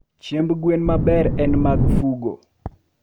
Chiemb gwen maber en mag Fugo